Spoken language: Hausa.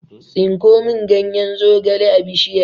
Tsinko mun ganyen zogale a bishiyar!